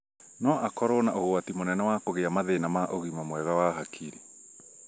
no akorwo na ũgwati mũnene wa kũgĩa mathĩna ma ũgima mwega wa hakiri